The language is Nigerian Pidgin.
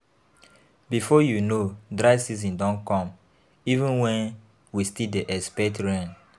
Before you know, dry season don come even wen we still dey dey expect rain.